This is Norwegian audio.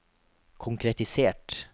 konkretisert